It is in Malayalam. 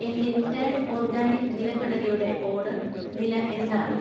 എന്‍റെ ടേൺ ഓർഗാനിക് നിലക്കടലയുടെ ഓർഡർ നില എന്താണ്?